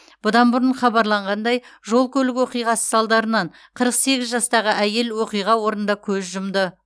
бұдан бұрын хабарланғандай жол көлік оқиғасы салдарынан қырық сегіз жастағы әйел оқиға орнында көз жұмды